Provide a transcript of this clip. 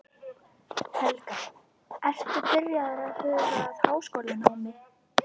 Helga: Ertu byrjaður að huga að háskólanámi?